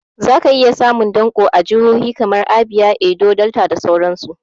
Za ka iya samun danƙo a jahohi kamar Abia, Edo, Delta da sauran su